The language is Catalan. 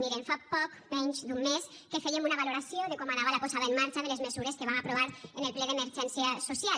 mirin fa poc menys d’un mes que fèiem una valoració de com anava la posada en marxa de les mesures que vam aprovar en el ple d’emergència social